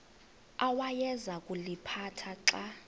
awayeza kuliphatha xa